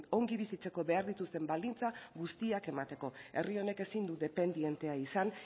ongi bizitzeko behar dituzten baldintza guztiak emateko herri honek ezin du dependientea izan